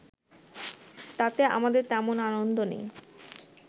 তাতে আমাদের তেমন আনন্দ নেই